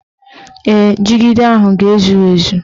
Ee, jigida ahụ ga-ezu ezu